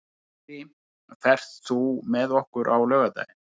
Dýri, ferð þú með okkur á laugardaginn?